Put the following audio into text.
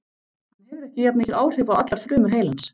Hann hefur ekki jafn mikil áhrif á allar frumur heilans.